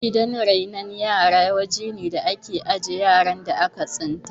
Gidan renon yara wajene da ake ajiye yaran da aka tsinta